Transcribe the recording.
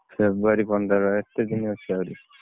February ପନ୍ଦର ଏତେ ଦିନ ଅଛି ଆହୁରି।